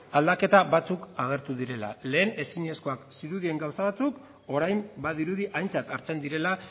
aldaketa batzuk agertu direla lehen ezinezkoak zirudien gauza batzuk orain badirudi aintzat hartzen direla